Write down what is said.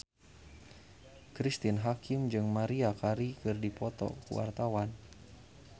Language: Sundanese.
Cristine Hakim jeung Maria Carey keur dipoto ku wartawan